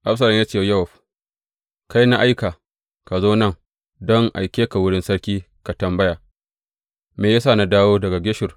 Absalom ya ce wa Yowab, Kai, na aika, Ka zo nan don in aike ka wurin sarki ka tambaya, Me ya sa na dawo daga Geshur?